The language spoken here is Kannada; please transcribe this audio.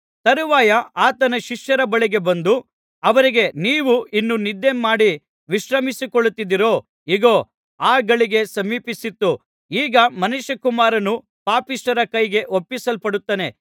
ತರುವಾಯ ಆತನು ಶಿಷ್ಯರ ಬಳಿಗೆ ಬಂದು ಅವರಿಗೆ ನೀವು ಇನ್ನು ನಿದ್ದೆ ಮಾಡಿ ವಿಶ್ರಮಿಸಿಕೊಳ್ಳುತ್ತಿದ್ದೀರೋ ಇಗೋ ಅ ಗಳಿಗೆ ಸಮೀಪಿಸಿತು ಈಗ ಮನುಷ್ಯಕುಮಾರನು ಪಾಪಿಷ್ಠರ ಕೈಗೆ ಒಪ್ಪಿಸಲ್ಪಡುತ್ತಾನೆ